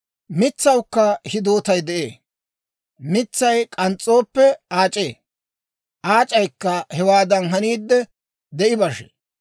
«Mitsawukka hidootay de'ee; mitsay k'ans's'ooppe aac'ee; aac'aykka hewaadan haniidde, de'i bashee.